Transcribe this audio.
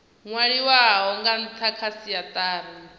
nwaliwaho nga ntha kha siatari